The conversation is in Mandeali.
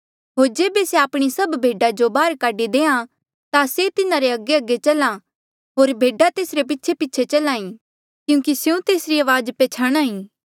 होर जेबे से आपणी सभ भेडा जो बाहर काढी देहां ता से तिन्हारे अगेअगे चल्हा होर भेडा तेसरे पीछेपीछे चल्हा ई क्यूंकि स्यों तेसरी अवाज पछयाणहां ईं